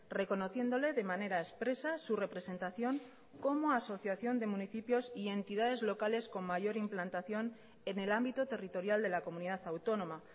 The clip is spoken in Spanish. reconociéndole de manera expresa su representación como asociación de municipios y entidades locales con mayor implantación en el ámbito territorial de la comunidad autónoma